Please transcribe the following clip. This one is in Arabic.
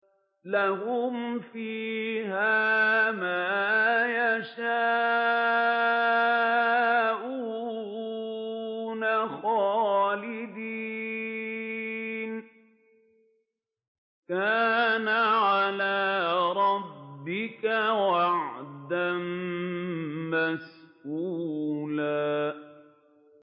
لَّهُمْ فِيهَا مَا يَشَاءُونَ خَالِدِينَ ۚ كَانَ عَلَىٰ رَبِّكَ وَعْدًا مَّسْئُولًا